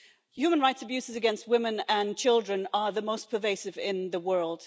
Human rights abuses against women and children are the most pervasive in the world.